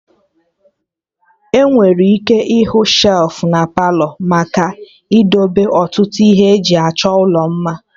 Enwere ike ịhụ shelfụ na Palọ maka idebe ọtụtụ ihe eji achọ ụlọ mma